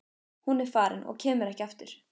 Hún er farin og kemur ekki aftur.